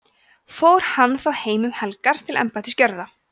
fór hann þá heim um helgar til embættisgjörða